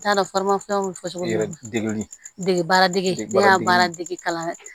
N t'a dɔn bɛ fɔ cogo di degun dege baara dege baara dege kalan na